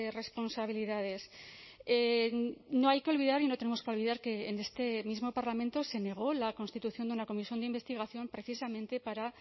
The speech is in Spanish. responsabilidades no hay que olvidar y no tenemos que olvidar que en este mismo parlamento se negó la constitución de una comisión de investigación precisamente para